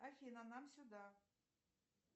афина нам сюда